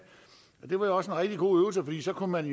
det var jo også en rigtig god øvelse fordi så kunne man